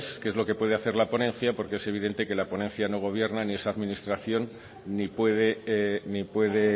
que es lo que puede hacer la ponencia porque es evidente que la ponencia no gobierna ni es administración ni puede ni puede